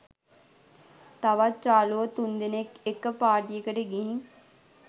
තවත් යාළුවෝ තුන්දෙනෙක්‌ එක්‌ක පාටියකට ගිහින්